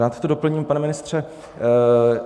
Rád to doplním, pane ministře.